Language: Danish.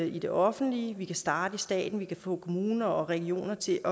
i det offentlige vi kan starte i staten vi kan få kommuner og regioner til